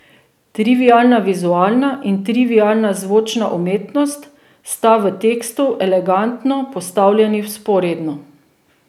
Trivialna vizualna in trivialna zvočna umetnost sta v tekstu elegantno postavljeni vzporedno.